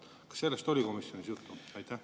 Kas sellest oli komisjonis juttu?